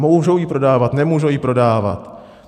Můžou ji prodávat, nemůžou ji prodávat?